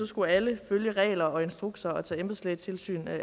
skulle alle følge regler og instrukser og tage embedslægetilsyn